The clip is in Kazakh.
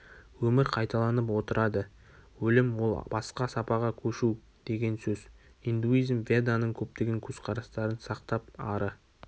өмір кайталанып отырады өлім ол басқа сапаға көшу деген сөз индуизм веданың көптеген көзқарастарын сақтап ары